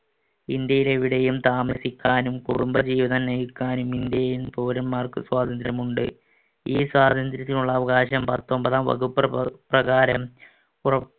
ഇന്ത്യയിൽ എവിടെയും താമസിക്കാനും കുടുംബജീവിതം നയിക്കാനും ഇന്ത്യയില്‍ പൗരന്മാർക്ക് സ്വാതന്ത്രമുണ്ട്. ഈ സ്വാതന്ത്ര്യത്തിനുള്ള അവകാശം പത്തൊൻപതാം വകുപ്പ് പ~ പ്രകാരം പുറ~